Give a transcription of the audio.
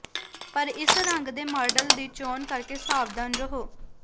ਪਰ ਇਸ ਰੰਗ ਦੇ ਮਾਡਲ ਦੀ ਚੋਣ ਕਰਕੇ ਸਾਵਧਾਨ ਰਹੋ